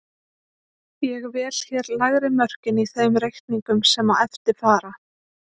Ég vel hér lægri mörkin í þeim reikningum sem á eftir fara.